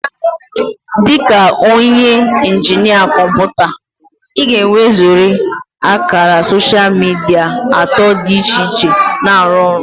Dị ka onye injinia kọmpụta, ị ga-enwezurịrị ákàrà soshal midia atọ dị iche iche na-arụ ọrụ